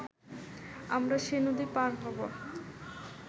আমরা সে নদী পার হব